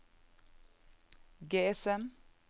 GSM